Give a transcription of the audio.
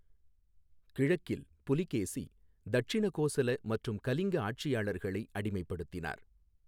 கிழக்கில், புலகேசி தட்சிண கோசல மற்றும் கலிங்க ஆட்சியாளர்களை அடிமைப்படுத்தினார்.